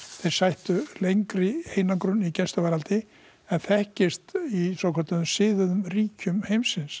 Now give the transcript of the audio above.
sættu lengri einangrun í gæsluvarðhaldi en þekkist í svokölluðu siðuðu ríkjum heimsins